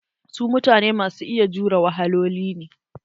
Su mutane masu iya jure wahaloli ne.